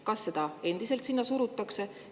Kas seda surutakse sinna endiselt?